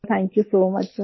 thank you so much सिर